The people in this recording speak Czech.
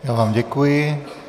Já vám děkuji.